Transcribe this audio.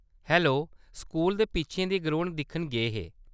Hello, school दे पिच्छें दी ग्राउंड दिक्खन गे हे ?